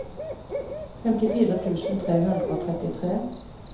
femtifire tusen tre hundre og trettitre